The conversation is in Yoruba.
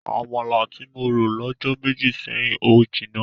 Àmàlà tí mo rò lọ́jọ́ méjì sẹ́yìn ò jinná.